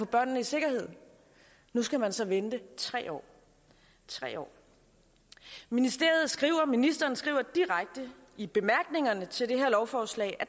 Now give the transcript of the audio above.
børnene i sikkerhed nu skal man så vente tre år tre år ministeren skriver ministeren skriver direkte i bemærkningerne til det her lovforslag at